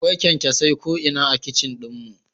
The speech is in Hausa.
Akwai kyankyasai ko'ina a kicin ɗin mu